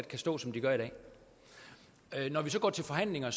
kan stå som de gør i dag når vi går til forhandlinger